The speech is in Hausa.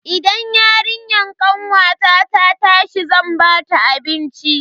Idan yarinyar kanwata ta tashi zan bata abinci.